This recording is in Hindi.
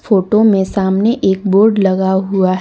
फोटो में सामने एक बोर्ड लगा हुआ--